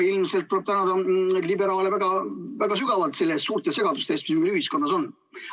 Ilmselt tuleb tänada liberaale väga sügavalt suurte segaduste eest, mis meil ühiskonnas on.